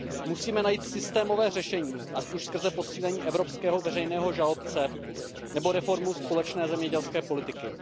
Musíme najít systémové řešení, ať už skrze posílení evropského veřejného žalobce nebo reformu společné zemědělské politiky.